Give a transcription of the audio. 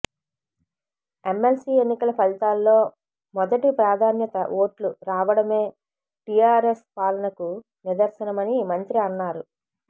MLC ఎన్నికల ఫలితాల్లో మొదటి ప్రాధాన్యత ఓట్లు రావడమే టీఆర్ఎస్ పాలనకు నిదర్శనమని మంత్రి అన్నారు